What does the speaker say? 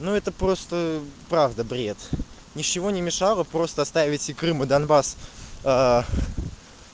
ну это просто правда бред ничего не мешало просто оставить крым и донбасс